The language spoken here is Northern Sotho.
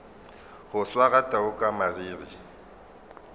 go swara tau ka mariri